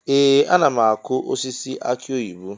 Ee! Ana m akụ osisi aki oyibo.